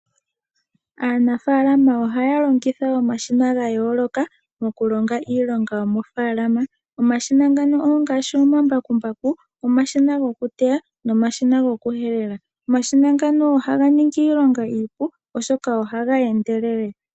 Aanafaalama ohaya longitha omashina ga yooloka mo kulonga iilonga yomofaalama. Omashina ongaashi omambakumbaku, omashina go kuteya nomashina go kuhelela, omashina ngano ohaga ningi iilonga iipu oshoka ohaga endelele.